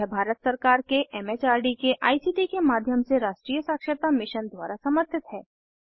यह भारत सरकार के एम एच आर डी के आई सी टी के माध्यम से राष्ट्रीय साक्षरता मिशन द्वारा समर्थित है